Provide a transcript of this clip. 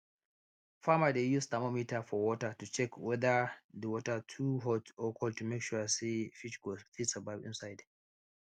farmer dey use thermometer for water to check wether the water too hot or cold to make sure say fish go fit survive inside